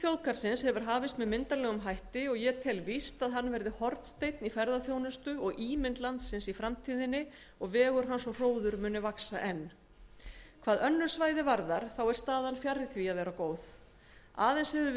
þjóðgarðsins hefur hafist með myndarlegum hætti og ég tel víst að hann verði hornsteinn í ferðaþjónustu og ímynd landsins í framtíðinni og vegur hans og hróður muni vaxa enn hvað önnur svæði varðar þá er staðan fjarri því að vera góð aðeins hefur